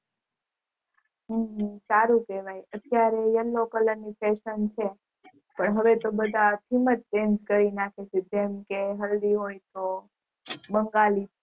હમ સારું કેવાય અત્યારે Yellow કલર ની Fashion છે હવે તો બધા સેમ જ theme કરી નાખે છે જેમકે હલ્દી હોય તો બંગાળી